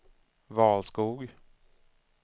Valskog